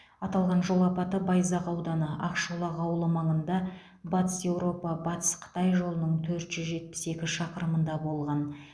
аталған жол апаты байзақ ауданы ақшолақ ауылы маңында батыс еуропа батыс қытай жолының төрт жүз жетпіс екі шақырымында болған